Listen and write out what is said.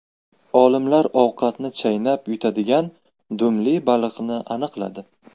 Olimlar ovqatni chaynab yutadigan dumli baliqni aniqladi.